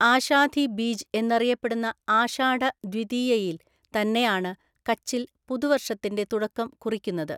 ആഷാധിബീജ് എന്നറിയപ്പെടുന്ന ആഷാഢദ്വിതീയയില്‍ തന്നെയാണ് കച്ചില്‍ പുതുവര്‍ഷത്തിന്റെ തുടക്കം കുറിക്കുന്നത്.